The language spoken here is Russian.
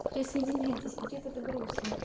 присоединяйтесь какие-то грусные